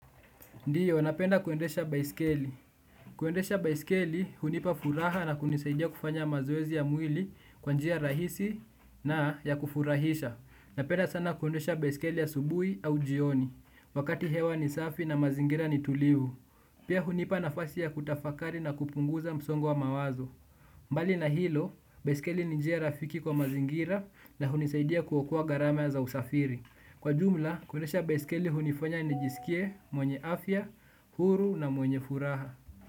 Ndiyo, napenda kuendesha baiskeli. Kuendesha baiskeli, hunipa furaha na kunisaidia kufanya mazoezi ya mwili kwa njia rahisi na ya kufurahisha. Napenda sana kuendesha baiskeli asubuhi au jioni, wakati hewa ni safi na mazingira ni tulivu. Pia hunipa nafasi ya kutafakari na kupunguza msongo wa mawazo. Mbali na hilo, baiskeli ni njia rafiki kwa mazingira na hunisaidia kuokoa gharama za usafiri. Kwa jumla, kuendesha baskeli hunifanya nijisikie mwenye afya, huru na mwenye furaha.